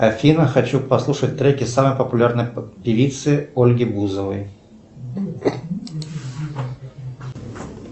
афина хочу послушать треки самой популярной певицы ольги бузовой